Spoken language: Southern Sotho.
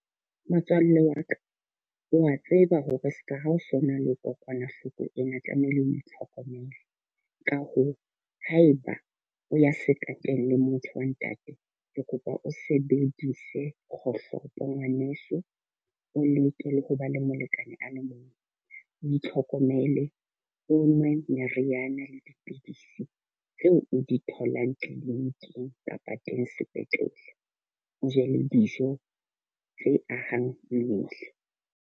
Motswalle wa ka, o a tseba hore seka ha o so na le kokwanahloko ena tlamehile o itlhokomele. Ka hoo, haeba o ya sekateng le motho wa ntate. Ke kopa o sebedise kgohlopo ngwaneso. O leke le ho ba le molekane a le mong. O itlhokomele, o nwe meriana le dipidisi tseo o di tholang clinic-ing kapa teng sepetlele. O je le dijo tse ahang mmele.